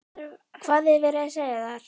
Hvað er verið að segja þar?